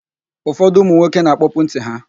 Ụfọdụ ụmụnwoke na-akpọpu ntị ha.